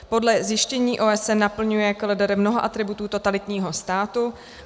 Podle zjištění OSN naplňuje KLDR mnoho atributů totalitního státu.